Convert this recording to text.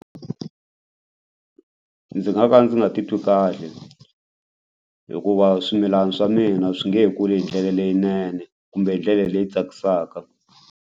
Ndzi nga ka ndzi nga titwi kahle hikuva swimilana swa mina swi nge kuli hi ndlela leyinene kumbe hi ndlela leyi tsakisaka.